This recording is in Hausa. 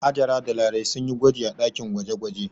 Hajara da Larai sun yi gwaji a ɗakin gwaje-gwaje.